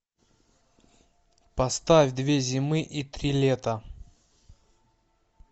поставь две зимы и три лета